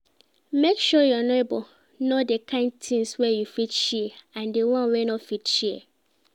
Make your neighbors know di kind things wey you fit share and di one wey you no fit share